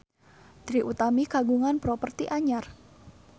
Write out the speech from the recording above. Trie Utami kagungan properti anyar